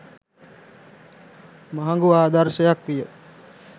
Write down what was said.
මහඟු ආදර්ශයක් විය.